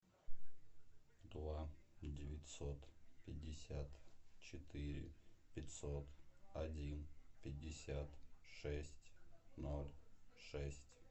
два девятьсот пятьдесят четыре пятьсот один пятьдесят шесть ноль шесть